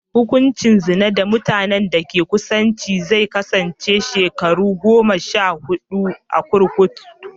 Hukuncin zina da mutanen da ke da kusanci zai kasance shekaru goma sha huɗu a kurkuku.